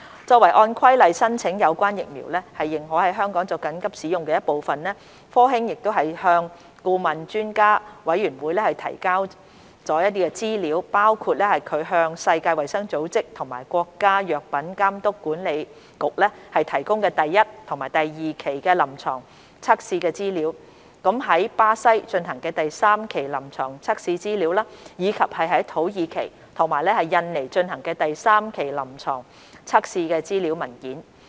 作為按《規例》申請有關疫苗認可在香港作緊急使用的一部分，科興向顧問專家委員會提交的資料包括其向世界衞生組織及國家藥品監督管理局提供的第一及第二期臨床測試資料、於巴西進行的第三期臨床測試資料，以及於土耳其及印尼進行的第三期臨床測試資料文件。